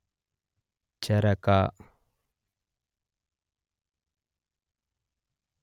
ಚರಕ